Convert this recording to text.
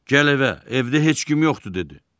Gəl evə, evdə heç kim yoxdur dedi.